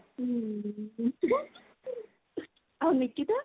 ଆଉ ନିକିତା?